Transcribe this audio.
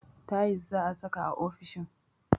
Tayis za'a saka a ofishin